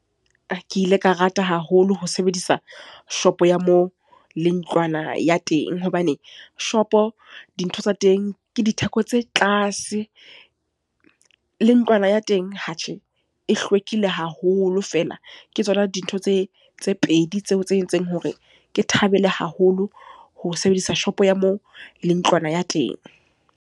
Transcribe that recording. Ke ile ka rata haholo ho sebedisa shopo ya moo, le ntlwana ya teng. Hobane shopo, dintho tsa teng ke ditheko tse tlase. Le ntlwana ya teng ha tjhe, e hlwekile haholo fela. Ke tsona dintho tse tse pedi tseo tse entseng hore ke thabele haholo ho sebedisa shopo ya moo, le ntlwana ya teng.